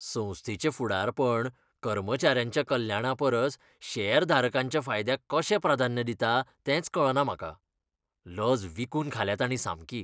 संस्थेचें फुडारपण कर्मचाऱ्यांच्या कल्याणापरस शेअरधारकांच्या फायद्याक कशें प्राधान्य दिता तेंच कळना म्हाका. लज विकून खाल्या ताणीं सामकी!